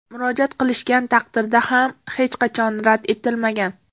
Murojaat qilishgan taqdirda ham hech qachon rad etilmagan.